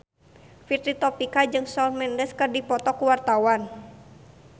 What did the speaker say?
Fitri Tropika jeung Shawn Mendes keur dipoto ku wartawan